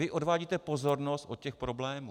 Vy odvádíte pozornost od těch problémů.